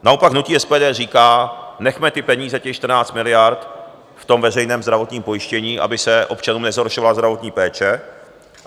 Naopak hnutí SPD říká - nechme ty peníze, těch 14 miliard, v tom veřejném zdravotním pojištění, aby se občanům nezhoršovala zdravotní péče.